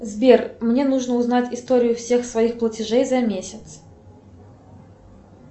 сбер мне нужно узнать историю всех своих платежей за месяц